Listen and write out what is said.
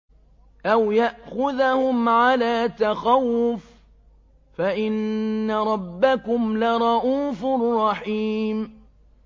أَوْ يَأْخُذَهُمْ عَلَىٰ تَخَوُّفٍ فَإِنَّ رَبَّكُمْ لَرَءُوفٌ رَّحِيمٌ